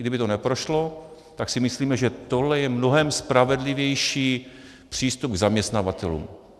Kdyby to neprošlo, tak si myslíme, že tohle je mnohem spravedlivější přístup k zaměstnavatelům.